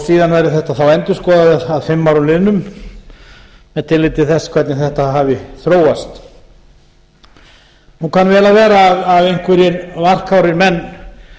síðan verði þetta endurskoðað að fimm árum liðnum með tilliti til þess hvernig þetta hafi þróast nú kann vel að vera að einhverja varkárir menn